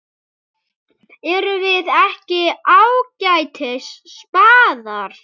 Erum við ekki ágætis spaðar?